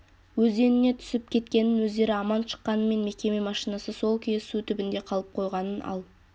өзеніне түсіп кеткенін өздері аман шыққанымен мекеме машинасы сол күйі су түбінде қалып қойғанын ал